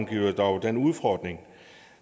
giver dog den udfordring